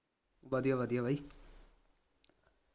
ਵਧੀਆ ਵਧੀਆ ਬਾਈ